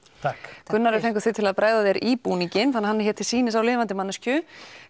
takk Gunnar við fengum þig til að bregða þér í búninginn þannig að hann er hér til sýnis á lifandi manneskju